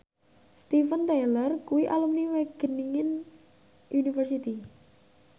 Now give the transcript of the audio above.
Steven Tyler kuwi alumni Wageningen University